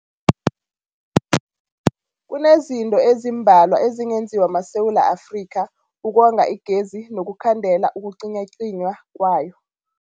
Kunezinto ezimbalwa ezingenziwa maSewula Afrika ukonga igezi nokukhandela ukucinywacinywa kwayo.